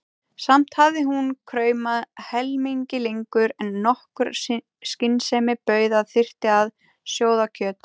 Samt hafði hún kraumað helmingi lengur en nokkur skynsemi bauð að þyrfti að sjóða kjöt.